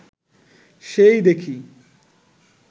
সেই দেখি